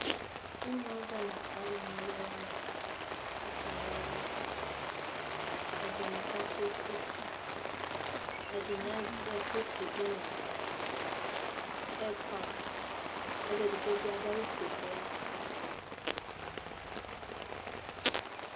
Imʋ avɛ n'alʋ nɔlʋ wani kakana ɔlʋ Ɛdini kakʋ eti, ɛdini azɛ sɔfi dʋ nʋ hɛdpan Ɔlʋ edigbo bi adu awʋ fue kɔya kakɔsʋ ma